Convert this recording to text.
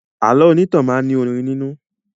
Àlọ́ onítàn máa ní orin nínú